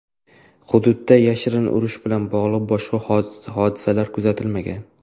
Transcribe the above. Hududda yashin urishi bilan bog‘liq boshqa hodisalar kuzatilmagan.